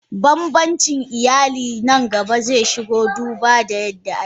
Banbancin iyali zeshigo nan gaba duba ga yadda ake.